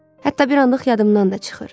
Hətta bir anlıq yadımdan da çıxır.